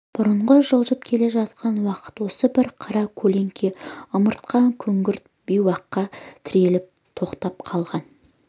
бұрынғы жылжып келе жатқан уақыт осы бір қара көлеңке ымыртқа күңгірт бейуаққа тіреліп тоқтап қалған